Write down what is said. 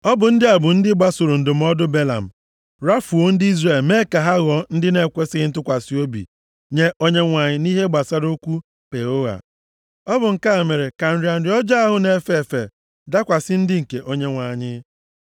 Ọ bụ ndị a bụ ndị gbasoro ndụmọdụ Belam, rafuo ndị Izrel mee ka ha ghọọ ndị na-ekwesighị ntụkwasị obi nye Onyenwe anyị nʼihe gbasara okwu Peoa. Ọ bụ nke a mere ka nrịa nrịa ọjọọ ahụ na-efe efe dakwasị ndị nke Onyenwe anyị.